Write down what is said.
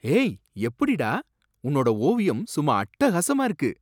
ஏய், எப்படிடா! உன்னோட ஓவியம் சும்மா அட்டகாசமா இருக்கு!